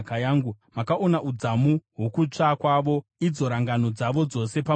Makaona udzamu hwokutsva kwavo, idzo rangano dzavo dzose pamusoro pangu.